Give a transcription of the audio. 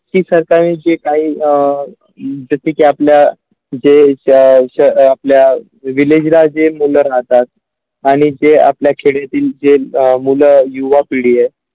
की सरकारांची काही अ आपल्या जे ज्या श ह आपल्या Villager जे मुलं राहतात आणि जे आपल्या खेडेतील जे अ मुलं युवा पिढी आहे.